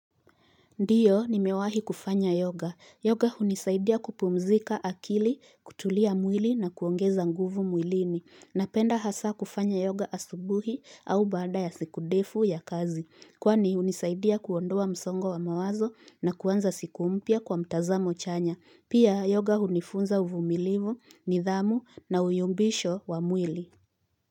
Ndiyo ni mewahi kufanya yoga. Yoga hunisaidia kupumzika akili, kutulia mwili na kuongeza nguvu mwilini. Napenda hasa kufanya yoga asubuhi au baada ya siku ndefu ya kazi. Kwani hunisaidia kuondoa msongo wa mawazo na kuanza siku mpya kwa mtazamo chanya. Pia yoga unifunza uvumilivu, nidhamu na uyumbisho wa mwili.